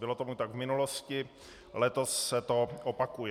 Bylo tomu tak v minulosti, letos se to opakuje.